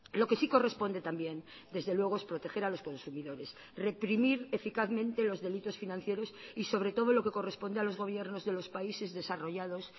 lo que sí corresponde también desde luego es proteger a los consumidores reprimir eficazmente los delitos financieros y sobre todo lo que corresponde a los gobiernos de los países desarrollados